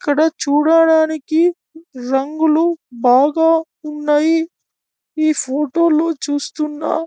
ఇక్కడ చూడడానికి రంగులు బాగా ఉన్నాయి ఈ ఫోటో లో చూస్తున్న.